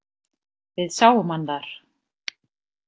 Við sáum hann þar.